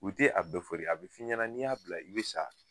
U tɛ a bɛ fɔ dɛ a bɛ f'i ɲɛna n'i y'a bila i bɛ sa